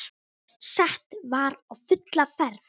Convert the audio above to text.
Sett var á fulla ferð.